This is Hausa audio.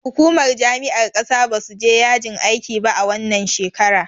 Hukumar jami'ar ƙasa basu je yajin aikiba a wannan shekara.